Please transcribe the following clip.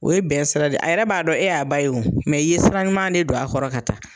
O ye bɛn sira de ye a yɛrɛ b'a dɔn e y'a ba ye o i ye sira ɲuman de don a kɔrɔ ka taa.